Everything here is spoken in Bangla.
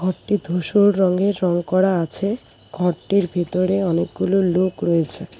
ঘরটি ধূসর রঙে রঙ করা আছে ঘরটির ভিতরে অনেকগুলো লোক রয়েছে।